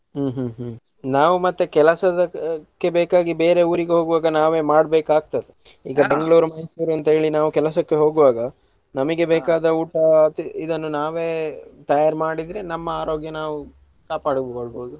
ಹ್ಮ್‌ ಹ್ಮ್‌ ಹ್ಮ್‌ ನಾವ್ ಮತ್ತೆ ಕೆಲಸದಕ್ಕೆ ಬೇಕಾಗಿ ಬೇರೆ ಊರಿಗೆ ಹೋಗೊವಾಗ ನಾವೆ ಮಾಡ್ಬೇಕಾಗ್ತದೆ ಈಗ Bangalore, Mysore ಅಂತೇಳಿ ನಾವ್ ಕೆಲಸಕ್ಕೆ ಹೋಗುವಾಗ ನಮಗೆ ಬೇಕಾದ ಊಟ ತಿ~ ಇದನ್ನು ನಾವೇ ತಯಾರ್ ಮಾಡಿದ್ರೆ ನಮ್ಮ ಆರೋಗ್ಯ ನಾವು ಕಾಪಾಡಿಕೊಳ್ಬೋದು.